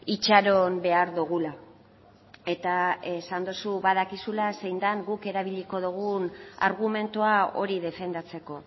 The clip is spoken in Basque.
itxaron behar dugula eta esan duzu badakizula zein den guk erabiliko dugun argumentua hori defendatzeko